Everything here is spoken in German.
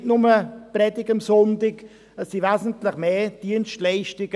Es gibt nicht nur die Sonntagspredigt, sondern wesentlich mehr Dienstleistungen.